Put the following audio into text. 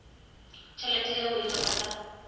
tšhelete yeo e lego ka